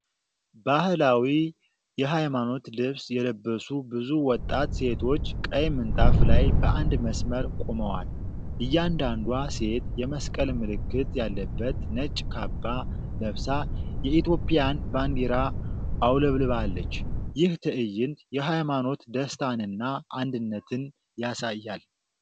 ባህላዊ የሃይማኖት ልብስ የለበሱ ብዙ ወጣት ሴቶች ቀይ ምንጣፍ ላይ በአንድ መስመር ቆመዋል። እያንዳንዷ ሴት የመስቀል ምልክት ያለበት ነጭ ካባ ለብሳ የኢትዮጵያን ባንዲራ አውለብልባለች። ይህ ትዕይንት የሃይማኖት ደስታንና አንድነትን ያሳያል።